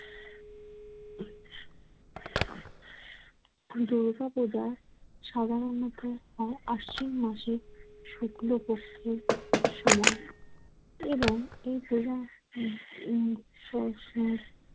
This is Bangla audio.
দুর্গাপূজা সাধারণত হয় আশ্বিন মাসের শুক্লপক্ষের সময় এবং এ পূজা উম স্ব স্ব